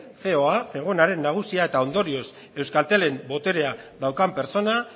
ceo a zegonaren nagusia eta ondorioz euskaltelen boterea daukan pertsona